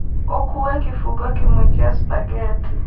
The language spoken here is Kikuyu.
ũkuue kĩbungo kĩmwe kĩa spaghetti